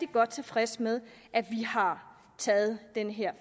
godt tilfreds med at vi har taget den her